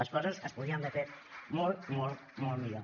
les coses es podien haver fet molt molt millor